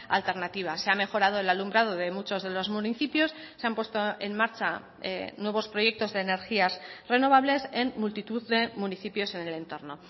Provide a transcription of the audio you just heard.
alternativas se ha mejorado el alumbrado de muchos de los municipios se han puesto en marcha nuevos proyectos de energías renovables en multitud de municipios en el entorno